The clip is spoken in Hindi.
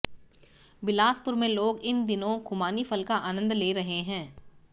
बिलासपुर में लोग इन दिनों खुमानी फल का आनंद ले रहे हैं